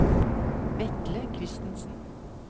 Vetle Kristensen